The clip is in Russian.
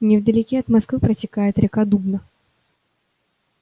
невдалеке от москвы протекает река дубна